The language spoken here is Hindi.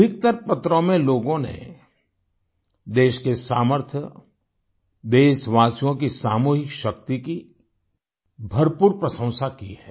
अधिकतर पत्रों में लोगों ने देश के सामर्थ्य देशवासियों की सामूहिक शक्ति की भरपूर प्रशंसा की है